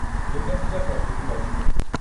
ଦୁର୍ଗାପୂଜା ପ୍ରସ୍ତୁତି ବୈଠକ